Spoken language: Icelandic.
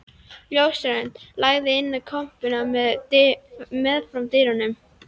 Ljósrönd lagði inn í kompuna meðfram dyrunum.